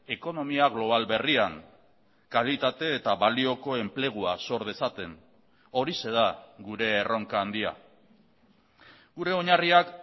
ekonomia global berrian kalitate eta balioko enplegua sor dezaten horixe da gure erronka handia gure oinarriak